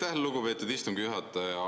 Aitäh, lugupeetud istungi juhataja!